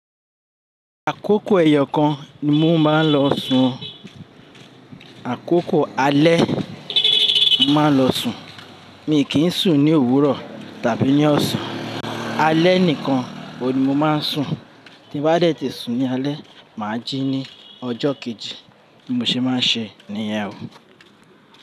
Àkókò ẹyọ kan ni mo máa ń lọ sùn, àkókò alẹ́ máa n lọ sùn. Mi kì í sùn ní òwúrọ̀ tàbí ní ọ̀sán, alẹ́ nìkan oun ni mo máa ń sùn. Tí n bá dẹ̀ ti sùn ní alẹ́ máa jí ní ọjọ́ kejì bi mo ṣe máa ń ṣe níyẹn o.